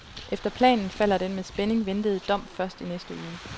Efter planen falder den med spænding ventede dom først i næste uge.